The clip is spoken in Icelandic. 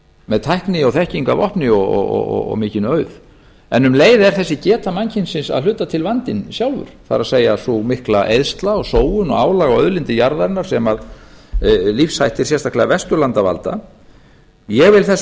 með tækni og þekkingu að vopni og mikinn auð en um leið er þessi geta mannkynsins að hluta til vandinn sjálfur það er sú mikla eyðsla sóun og álag á auðlindir jarðarinnar sem lífshættir sérstaklega vesturlanda varða ég vil þess